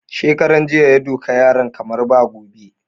Shekaran jiya ya duka yaran kamar ba gobe